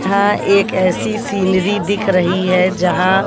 यहां एक ऐसी सीनरी दिख रही है जहां--